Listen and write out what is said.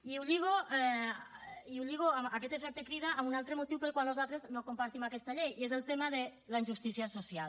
i ho lligo aquest efecte crida amb un altre motiu pel qual nosaltres no compartim aquesta llei i és el tema de la injustícia social